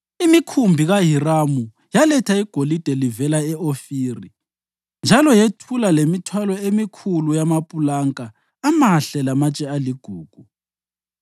(Imikhumbi kaHiramu yaletha igolide livela e-Ofiri; njalo yethula lemithwalo emikhulu yamapulanka amahle lamatshe aligugu.